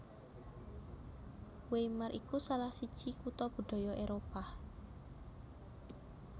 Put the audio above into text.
Weimar iku salah siji kutha budaya Éropah